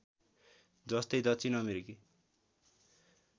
जस्तै दक्षिण अमेरिकी